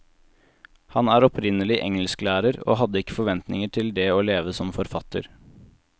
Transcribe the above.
Han er opprinnelig engelsklærer, og hadde ikke forventninger til det å leve som forfatter.